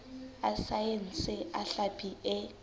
a saense a hlapi e